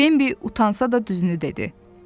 Bambi utansa da düzünü dedi.